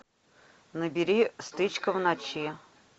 набери стычка в ночи